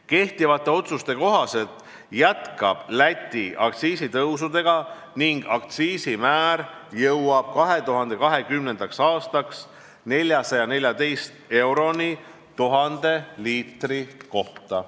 Kehtivate otsuste kohaselt jätkab Läti aktsiisitõusudega ning aktsiisimäär jõuab 2020. aastaks 414 euroni 1000 liitri kohta.